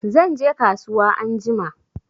Zanje kasuwa anjima